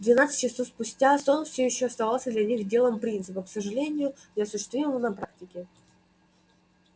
двенадцать часов спустя сон все ещё оставался для них делом принципа к сожалению неосуществимого на практике